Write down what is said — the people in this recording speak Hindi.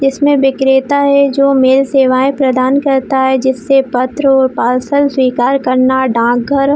इसमें विक्रेता है जो मेल सेवाए प्रदान करता है जिससे पत्र और पार्सल स्वीकार करना डाक घर--